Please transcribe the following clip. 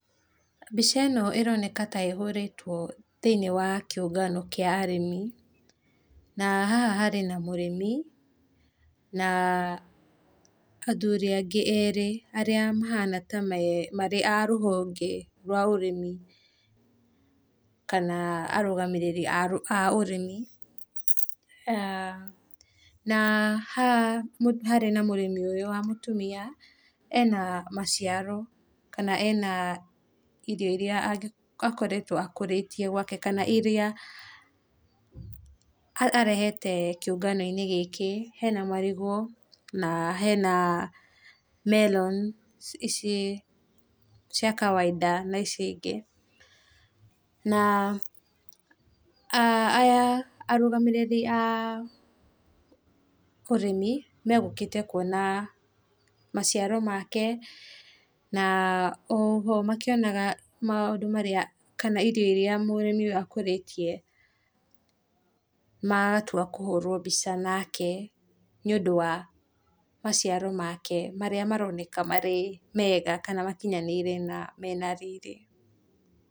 Mbica ĩno ĩroneka ta ĩhorĩtwo thĩinĩ wa kĩũngano kĩa arĩmi, na haha harĩ na mũrĩmi na athuri angĩ erĩ mahana ta arĩ a rũhonge rwa ũrĩmi kana arũgamĩrĩri a ũrĩmi, na haha harĩ na mũrĩmi ũyũ wa mũtumia ena maciaro kana ena irio iria angĩkorwo akũrĩtie gwake kana iria, arehete kĩũngano-inĩ gĩkĩ, hena marigũ na hena melon ici cia kawaida na ici ingĩ, na aya arũgamĩrĩri a ũrĩmi megũgĩkĩte kwona maciaro make, na oho makĩonaga maũndũ marĩa kana indo iria mũrĩmi ũyũ akũrĩtie matua kũhũrwo mbica nake nĩ ũndũ wa maciaro make marĩa maroneka marĩ mega kana makinyanĩire kana mena riri.